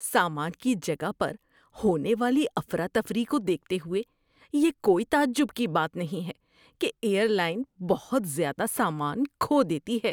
سامان کی جگہ پر ہونے والی افراتفری کو دیکھتے ہوئے، یہ کوئی تعجب کی بات نہیں ہے کہ ایئر لائن بہت زیادہ سامان کھو دیتی ہے۔